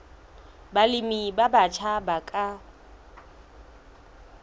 balemi ba batjha ba ka